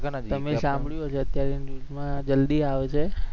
તમે સાંભળયુ હશે અત્યારે news મા જલ્દી આવશે.